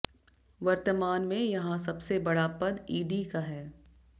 वर्तमान में यहां सबसे बड़ा पद ईडी का है